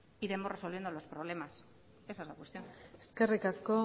iremos resolviendo los problemas esa es la cuestión eskerrik asko